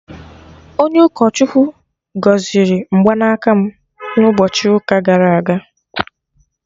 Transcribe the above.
Onye ụkọ Chukwu gọziri mgbanaka m na ụbọchị ụka gara aga